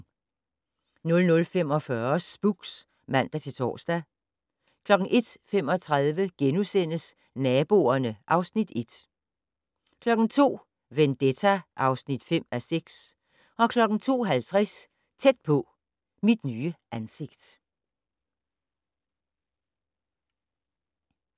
00:45: Spooks (man-tor) 01:35: Naboerne (Afs. 1)* 02:00: Vendetta (5:6) 02:50: Tæt på: Mit nye ansigt